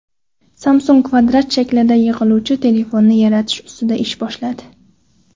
Samsung kvadrat shaklida yig‘iluvchi telefonni yaratish ustida ish boshladi.